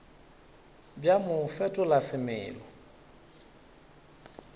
bja mo bo fetola semelo